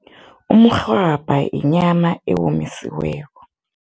Umrhwabha inyama eyomisiweko.